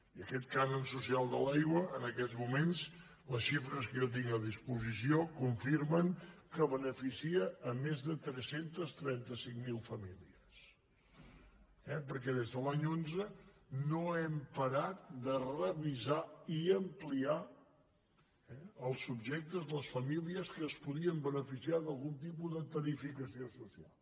i aquest cànon social de l’aigua en aquests moments les xifres que jo tinc a disposició confirmen que beneficia més de tres cents i trenta cinc mil famílies eh perquè des de l’any onze no hem parat de revisar i ampliar els subjectes de les famílies que es podien beneficiar d’algun tipus de tarificació social